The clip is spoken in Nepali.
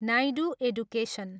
नायडू एडुकेसन।